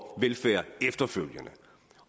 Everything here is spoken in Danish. velfærd efterfølgende